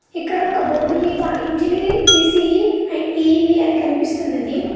ఇక్కడ ఒక బోర్డు మీద ఇంజనీరింగ్ ఈ_సీ_ఈ అండ్ ఈ_ఈ_ఈ అని కనిపిస్తున్నది.